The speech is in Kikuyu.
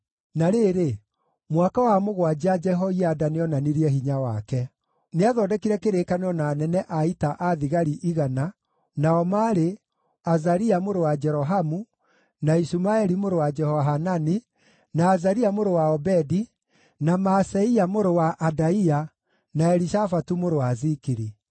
Na rĩrĩ, mwaka wa mũgwanja Jehoiada nĩonanirie hinya wake. Nĩathondekire kĩrĩkanĩro na anene a ita a thigari 100 nao maarĩ: Azaria mũrũ wa Jerohamu, na Ishumaeli mũrũ wa Jehohanani, na Azaria mũrũ wa Obedi, na Maaseia mũrũ wa Adaia, na Elishafatu mũrũ wa Zikiri.